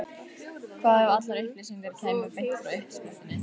Hvað ef allar upplýsingar kæmu beint frá uppsprettunni?